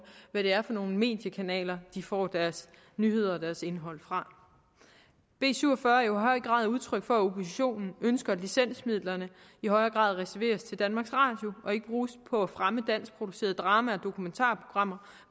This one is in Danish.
hvad det er for nogle mediekanaler de får deres nyheder og deres indhold fra b syv og fyrre er jo i høj grad udtryk for at oppositionen ønsker at licensmidlerne i højere grad reserveres til danmarks radio og ikke bruges på at fremme dansk producerede drama og dokumentarprogrammer